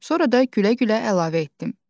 Sonra da gülə-gülə əlavə etdim.